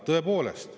Tõepoolest.